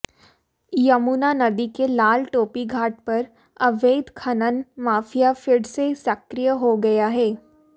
यमुनानदी के लाल टोपी घाट पर अवैध खनन माफिया फिर से सक्रिय हो गया है